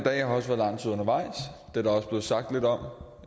der også blevet sagt lidt om